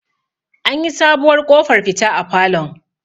an yi sabuwar ƙofar fita a falon